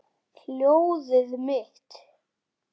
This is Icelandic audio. Hjólið mitt!